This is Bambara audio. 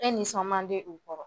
E nisɔn man di u kɔrɔ